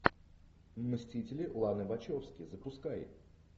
мстители ланы вачовски запускай